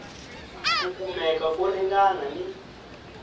ku kumeka ko ringana ni